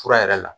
Fura yɛrɛ la